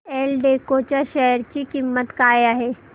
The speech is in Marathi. एल्डेको च्या शेअर ची किंमत काय आहे